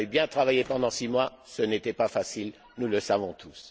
Vous avez bien travaillé pendant six mois, ce n'était pas facile, nous le savons tous.